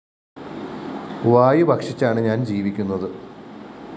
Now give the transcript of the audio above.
വായു ഭക്ഷിച്ചാണ് ഞാന്‍ ജീവിക്കുന്നത്